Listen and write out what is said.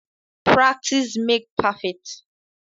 Practice makes perfect.